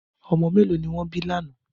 Ọmọ mẹ́lọ̀ ni wọn bí lánà?